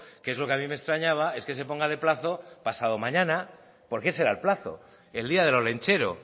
que es lo que a mí me extrañaba es que se ponga de plazo pasado mañana porque ese era el plazo el día del olentzero